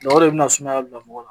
o de bi na sumaya bila mɔgɔ la.